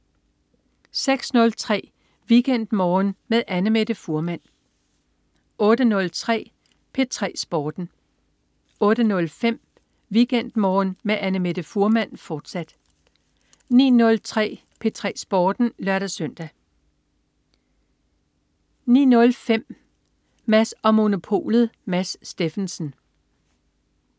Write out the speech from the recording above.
06.03 WeekendMorgen med Annamette Fuhrmann 08.03 P3 Sporten 08.05 WeekendMorgen med Annamette Fuhrmann, fortsat 09.03 P3 Sporten (lør-søn) 09.05 Mads & Monopolet. Mads Steffensen